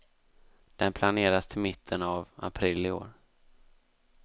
Den planeras till mitten av april i år.